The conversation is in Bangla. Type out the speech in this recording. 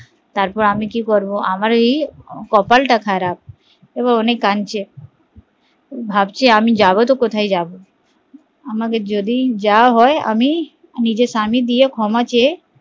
তারপর আমি কি করে আমার এই কপাল তা খারাপ এবার অনেক কানচে ভাবছে আমি যাবো তো কোথায় যাবো আমাকে যদি যাওয়া হয় আমি নিজে স্বামী দিয়ে ক্ষমা চেয়ে